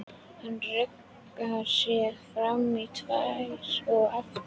Hann ruggar sér fram í tær og aftur á hæla.